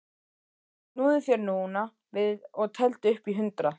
Snúðu þér núna við og teldu upp í hundrað.